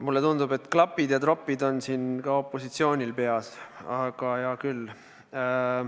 Mulle tundub, et klapid ja tropid on siin ka opositsioonil kasutusel, aga hea küll.